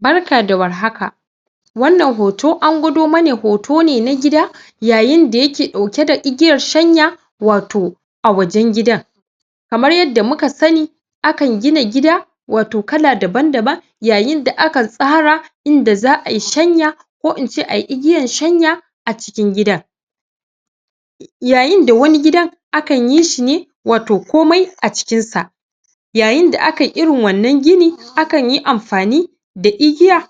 Barka da warhaka wannan hoto angwado mana hoto ne na gida yayin dayake dauke da igiyar shanya wato a wajen gida kamar yadda muka sani a kan gina gida wato kala daban-daban yayin da aka tsara inda za'a yi shanya ko ince ayi igiyar shanya a cikin gidan yayin da wani gidan akan yishi ne wato komai acikin sa yayin da akayi irin wannan gini akanyi amfani da igiya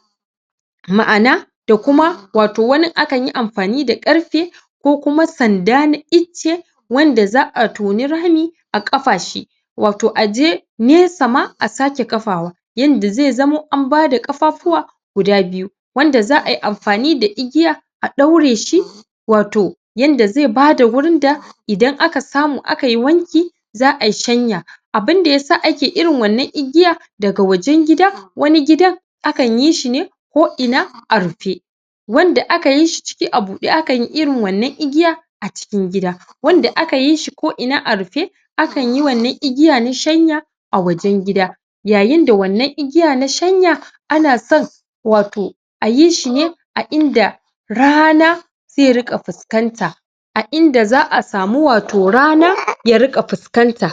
ma'ana da kuma wato wanin akanyi amfani da ƙarfe ko kuma sanda na icce wanda za'a toni rami a kafa shi wato aje nesama asake kafawa yadda zai zamo ambada ƙafafuwa guda biyu wanda za'ayi amfani da igiya a ɗaureshi wato yadda zai bada wurin da idan aka samu akayi wanki za' ayi shanya abun dayasa ake irin wannan igiyan daga wajen gida, wani gidan akan yishine ko ina a rufe wanda a kayishi ciki a buɗe akanyi irin wannan igiya acikin gida wanda a kayishi ko ina arufe akanyi wannan igiya na shanya a wajen gida yayin da wannan igiya nashanya anason wato ayishi ne a inda rana zai riƙa fuskanta a inda za'a samu wato rana ya riƙa fuskanta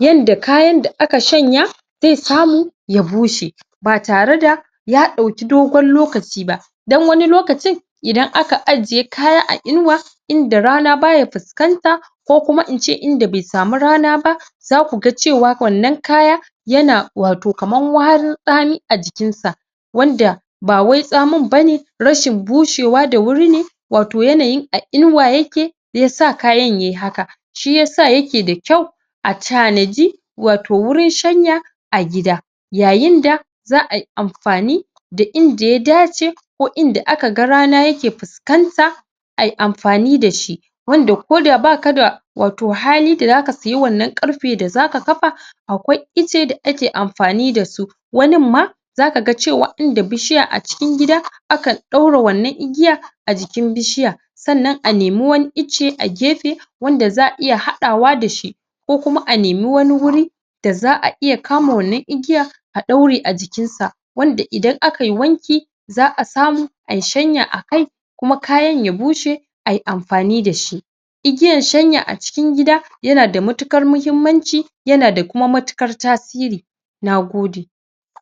yadda kayan da aka shanya zai samu ya bushe batare da yaɗauki dogon lokaci ba dan wani lokacin idan aka ajiye kaya a inuwa inda rana baya fuskanta ko kuma ince inda be samu rana ba zaku ga cewa wannan kaya yana wato kamar warin tsami ajikinsa wanda bawai tsamin ba ne rashin bushewa da wurine wato yanayin a inuwa yake da yasa kayan yayi haka shiyasa yake dakyau a tanaji wato wurin shanya a gida yayin da za'ayi amfani da inda ya dace ko inda aka rana yake fuskan ta ayi amfani da shi wanda koda baka da wato hali da zaka seya wannan ƙarfe dazaka kafa akwai icce dake amfani dasu, wanin ma zaka cewa inda bishiya a cikin gida akan daura wannan igiyan a jikin bishiyar sannan a nemi wani icce a gefe wanda za'a iya haɗawa da shi ko kuma a nemi wani wuri da za'a iya kama wannan igiyar a ɗaure ajikin sa, wanda idan akayi wanki za a samu ayi shanya akai kuma kayan su bushe ayi amfani dashi igiyan shanya a cikin gida yana da matuƙar muhimmanci na kuma da mauƙar tasiri, nagode